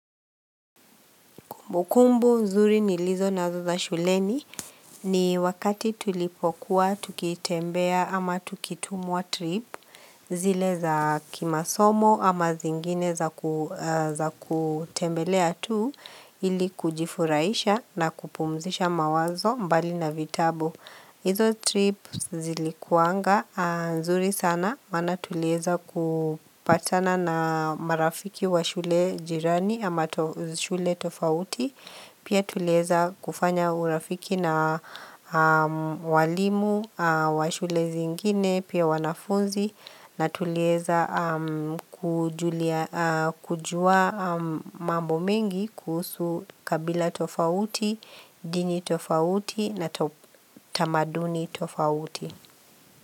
Kumbukumbu nzuri nilizo nazo za shuleni ni wakati tulipokuwa tukitembea ama tukitumwa trip zile za kimasomo ama zingine za kutembelea tu ili kujifuraisha na kupumzisha mawazo mbali na vitabu. Izo trip zilikuanga, nzuri sana, maana tulieza kupatana na marafiki wa shule jirani ama shule tofauti, pia tulieza kufanya urafiki na walimu wa shule zingine, pia wanafunzi, na tulieza kujua mambo mengi kuusu kabila tofauti, dini tofauti na tamaduni tofauti.